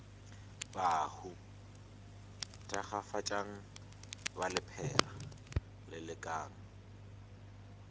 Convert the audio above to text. bahu thakgafatšang ba lephera lelekang